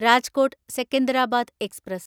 Rajkot Secunderabad express